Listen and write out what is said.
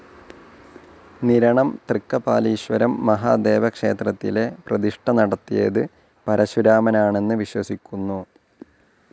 നിരണം തൃക്കപാലീശ്വരം മഹാദേവക്ഷേത്രത്തിലെ പ്രതിഷ്ഠ നടത്തിയത് പരശുരാമനാണന്നു വിശ്വസിക്കുന്നു.